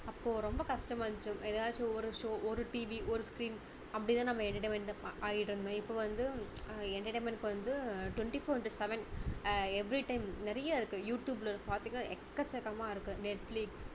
அப்போ ரொம்ப கஷ்டமா இருந்துச்சு ஏதாவது ஒரு show ஒரு TV ஒரு screen அப்படி தான் நம்ம entertainment ஆகிட்டு இருந்தோம் இப்போ வந்து entertainment க்கு வந்து twenty four into seven everytime நிறைய இருக்கு யூடுயூப்ல பாத்தீங்கன்னா எக்கச்சக்கமா இருக்கு நெட்ஃப்லிக்ஸ்